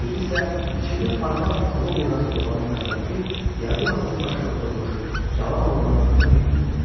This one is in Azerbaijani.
Özü isə içində parlaq alov yanan sobanın yanındakı yazı masası başında oturmuş cavan oğlanın yanına yürüdü.